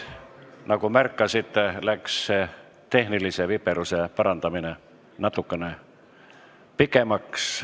Nagu märkasite, võttis tehnilise viperuse parandamine natukene kauem aega.